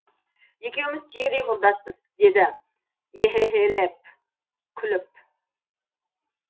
екеуміз түйдей құрдаспыз деді ехе хе хелеп күліп